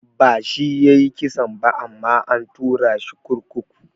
Ba shi yayi kisan ba amma an turashi kurkuku.